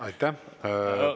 Aitäh!